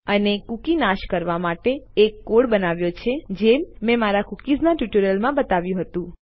અને કૂકી નાશ કરવા માટે આપણે એક કોડ બનાવ્યો છે જેમ મેં મારા કૂકીઝ ના ટ્યુટોરીયલ બતાવ્યું હતું